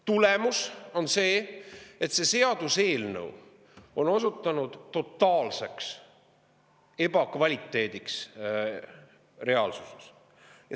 Tulemus on see, et see seaduseelnõu on reaalsuses osutunud totaalseks ebakvaliteediks.